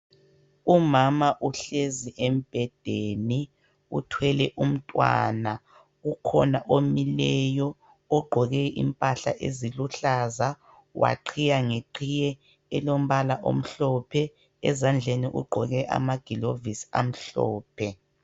Umama uhlezi embhedeni uthwele umntwana ukhona omileyo ogqoke impahla esiluhlanza waqhiya ngeqhiye olombala omhlophe ezandleni ugqoke amagilovisi amhlophe.